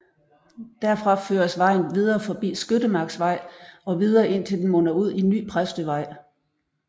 Derfra føres vejen videre forbi Skyttemarksvej og videre indtil den munder ud i Ny Præstøvej